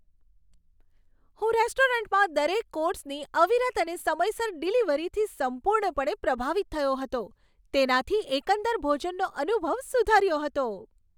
હું રેસ્ટોરન્ટમાં દરેક કોર્સની અવિરત અને સમયસર ડિલિવરીથી સંપૂર્ણપણે પ્રભાવિત થયો હતો, તેનાથી એકંદર ભોજનનો અનુભવ સુધર્યો હતો.